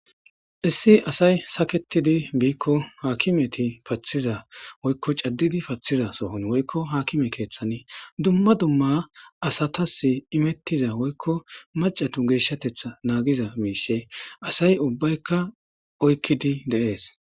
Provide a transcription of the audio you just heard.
1 asay saketid Biko akimetv pathiza woyko cadid pathiza sohon woyko akime kethan dumma dumma asatas imetiza woyko macatu geshatetha nagiza mishe asay ubbayka oykid de'es.